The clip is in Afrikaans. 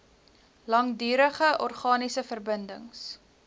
langdurige organiese verbindings